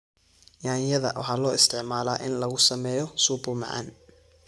Yaanyada waxaa loo isticmaalaa in lagu sameeyo supu macaan.